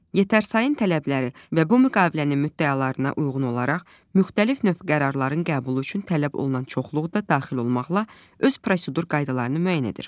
Yetərsayın tələbləri və bu müqavilənin müddəalarına uyğun olaraq müxtəlif növ qərarların qəbulu üçün tələb olunan çoxluğu da daxil olmaqla öz prosedur qaydalarını müəyyən edir.